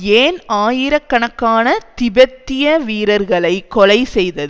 ஏன் ஆயிரக்கணக்கான திபெத்திய வீரர்களை கொலை செய்தது